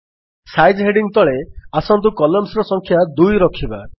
size heading ତଳେ ଆସନ୍ତୁ columns ର ସଂଖ୍ୟା 2 ରଖିବା